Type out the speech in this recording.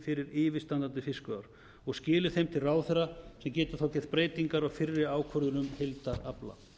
fyrir yfirstandi fiskveiðiár og skili þeim til ráðherra sem geti þá gert breytingar á fyrri ákvörðun um heildarafla